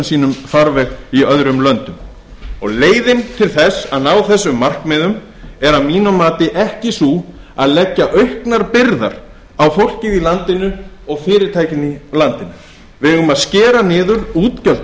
sínum farveg í öðrum löndum leiðin til að ná þessum markmiðum er að mínu mati ekki sú að leggja auknar byrðar á fólkið í landinu og fyrirtækin í landinu við eigum að skera niður útgjöld